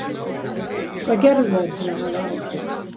Hvað gerðu þær til að hafa áhrif?